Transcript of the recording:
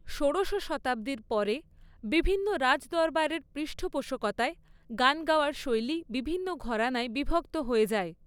ষোড়শ শতাব্দীর পরে, বিভিন্ন রাজদরবারের পৃষ্ঠপোষকতায়, গান গাওয়ার শৈলী বিভিন্ন ঘরানায় বিভক্ত হয়ে যায়।